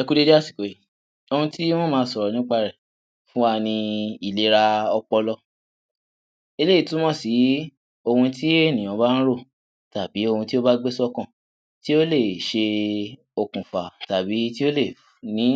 Ẹ kú dédé àsìkò yìí ohun tí mó ma sọ̀rọ̀ nípa rẹ̀ fún wa ní ìléra ọpọlọ eléyìí túmọ̀ sì ohun tí ènìyàn bá ń rò tàbí ohun tí ó gbé sí ọkàn tí ó lè ṣe okùnfà tàbí tí ó lè ní